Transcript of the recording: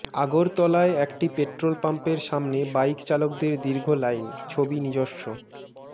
আগরতলায় একটি পেট্রোল পাম্পের সামনে বাইক চালকদের দীর্ঘ লাইন ছবি নিজস্ব